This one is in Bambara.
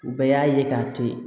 U bɛɛ y'a ye k'a to ye